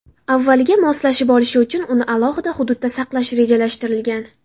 Avvaliga moslashib olishi uchun uni alohida hududda saqlash rejalashtirilgan.